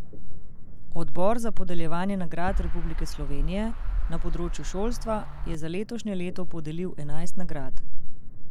Odbor za podeljevanje nagrad Republike Slovenije na področju šolstva je za letošnje leto podelil enajst nagrad.